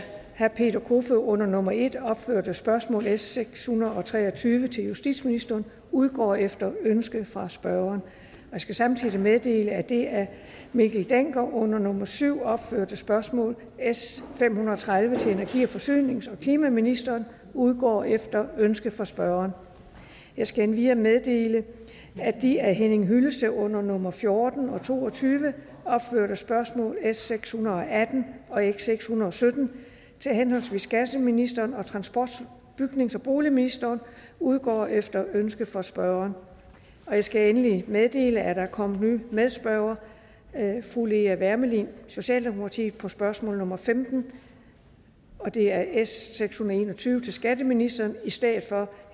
herre peter kofod under nummer en opførte spørgsmål s seks hundrede og tre og tyve til justitsministeren udgår efter ønske fra spørgeren jeg skal samtidig meddele at det af herre mikkel dencker under nummer syv opførte spørgsmål s fem hundrede og tredive til energi forsynings og klimaministeren udgår efter ønske fra spørgeren jeg skal endvidere meddele at de af herre henning hyllested under nummer fjorten og to og tyve opførte spørgsmål s seks hundrede og atten og s seks hundrede og sytten til henholdsvis skatteministeren og transport bygnings og boligministeren udgår efter ønske fra spørgeren jeg skal endelig meddele at der er kommet ny medspørger fru lea wermelin socialdemokratiet på spørgsmål nummer femten det er s seks hundrede og en og tyve til skatteministeren i stedet for